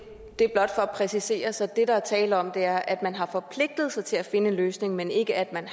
er blot for at præcisere så det der er tale om er at man har forpligtet sig til at finde en løsning men ikke at man